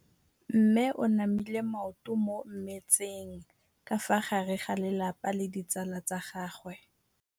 Mme o namile maoto mo mmetseng ka fa gare ga lelapa le ditsala tsa gagwe.